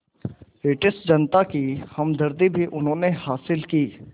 British जनता की हमदर्दी भी उन्होंने हासिल की